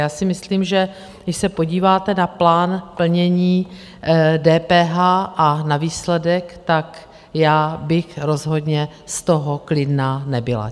Já si myslím, že když se podíváte na plán plnění DPH a na výsledek, tak já bych rozhodně z toho klidná nebyla.